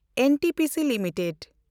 NTPC limited